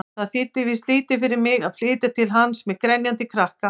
Það þýddi víst lítið fyrir mig að flytja til hans-með grenjandi krakka!